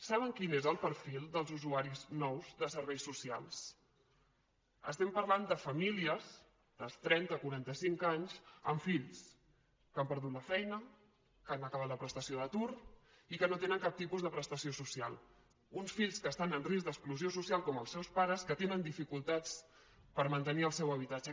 saben quin és el perfil dels usuaris nous de serveis socials estem parlant de famílies de trenta quaranta cinc anys amb fills que han perdut la feina que han acabat la prestació d’atur i que no tenen cap tipus de prestació social uns fills que estan en risc d’exclusió social com els seus pares que tenen dificultats per mantenir el seu habitatge